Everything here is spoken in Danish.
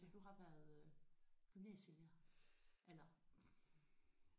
Så du har været øh gymnasielærer eller?